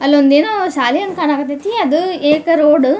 ಅಲ್ಲೊಂದೆನೋ ಶಾಲೆ ಹ್ಯಾಂಗ ಕನಕತೀತಿ ಅದು ಎಕ ರೋಡ್ --